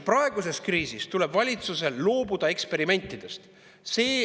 Praeguses kriisis tuleb valitsusel loobuda eksperimentidest.